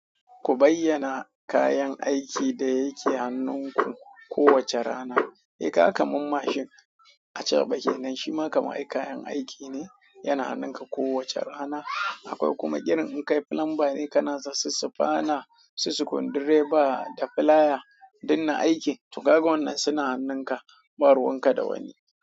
Ku bayyana kayan aikin da yake hannunku kowace rana. Eh, kaga kaman mashi acaba kenan. Shi ma kamar kayan aiki ne, yana hannunka kowace rana. Akwai kuma irin in kai plumber ne ka na da sisifana, sisikundireba da filaya, duk na aiki. To, kaga wannan suna hannunka, ba ruwan ka da wani.